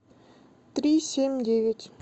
три семь девять